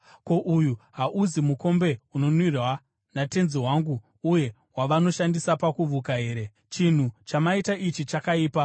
Ko, uyu hauzi mukombe unonwira tenzi wangu uye wavanoshandisa pakuvuka here? Chinhu chamaita ichi chakaipa.’ ”